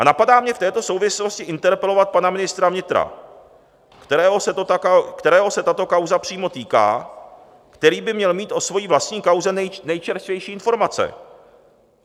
A napadá mě v této souvislosti interpelovat pana ministra vnitra, kterého se tato kauza přímo týká, který by měl mít o své vlastní kauze nejčerstvější informace.